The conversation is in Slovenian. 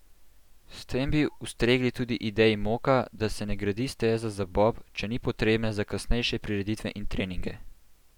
S tem bi ustregli tudi ideji Moka, da se ne gradi steza za bob, če ni potrebna za kasnejše prireditve in treninge.